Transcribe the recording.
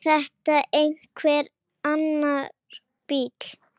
Var þetta einhver annar bíll?